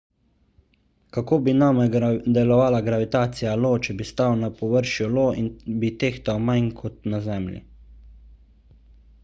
kako bi name delovala gravitacija io če bi stal na površju io bi tehtal manj kot na zemlji